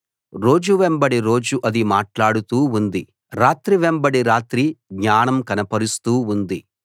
రోజు వెంబడి రోజు అది మాట్లాడుతూ ఉంది రాత్రి వెంబడి రాత్రి జ్ఞానం కనపరుస్తూ ఉంది